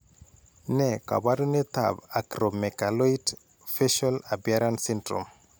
Ne kaabarunetap Acromegaloid facial appearance syndrome?